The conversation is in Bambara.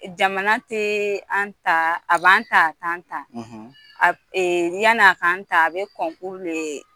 Jamana teee an ta a b'an ta a t'an a ee yan'a kan ta a bɛ kɔnkuru de lee